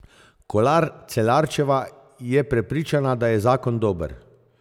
Kolar Celarčeva je prepričana, da je zakon dober.